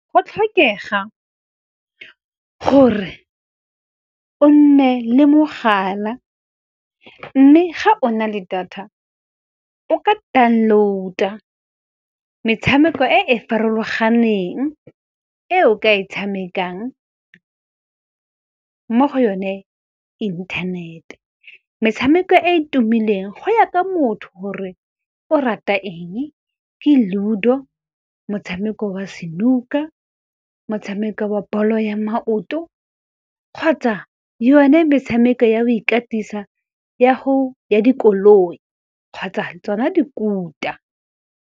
Go a tlhokega gore o nne le mogala, mme ga o na le data o ka download-a metshameko e e farologaneng, e o ka e tshamekang mo go yone inthanete. Metshameko e e tumileng go ya ka motho gore o rata eng, ke Ludo, motshameko wa snooker, motshameko wa bolo ya maoto, kgotsa yone metshameko ya go ikatisa ya dikoloi kgotsa tsona dikuta.